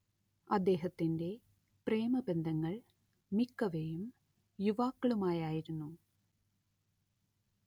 അദ്ദേഹത്തിന്റെ പ്രേമബന്ധങ്ങൾ മിക്കവയും യുവാക്കളുമായായിരുന്നു